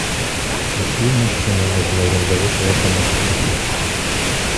какие машины можно арендовать в вашем отеле